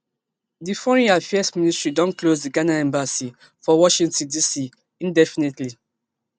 di foreign affairs ministry don close di ghana embassy for washington dc indefinitely